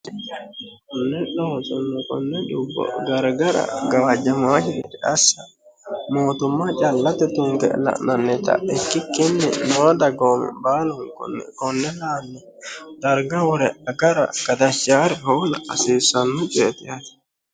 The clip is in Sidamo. nelho hosonno konne dubbo garigara gawaajamaahiriri assa mootumma callate tutunge la'nannita ikkikkinni noo dagoomi baalunkunni konne la'anni darga wore gara gadachaare hola qasiissanno coyeeti yaate.